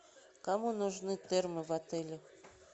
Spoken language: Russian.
кому нужны термы в отеле